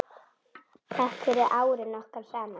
Takk fyrir árin okkar saman.